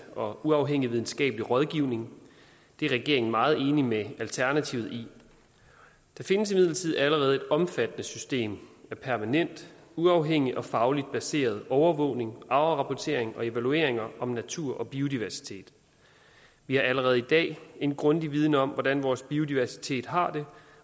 og uafhængig videnskabelig rådgivning det er regeringen meget enig med alternativet i der findes imidlertid allerede et omfattende system af permanent uafhængig og fagligt baseret overvågning afrapportering og evalueringer om natur og biodiversitet vi har allerede i dag en grundig viden om hvordan vores biodiversitet har det